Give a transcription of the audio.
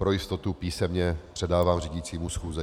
Pro jistotu písemně předávám řídícímu schůze.